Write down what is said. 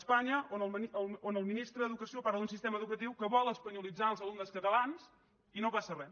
espanya on el ministre d’educació parla d’un sistema educatiu que vol espanyolitzar els alumnes catalans i no passa res